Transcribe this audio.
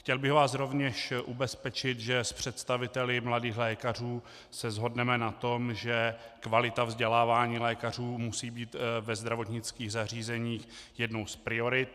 Chtěl bych vás rovněž ubezpečit, že s představiteli Mladých lékařů se shodneme na tom, že kvalita vzdělávání lékařů musí být ve zdravotnických zařízeních jednou z priorit.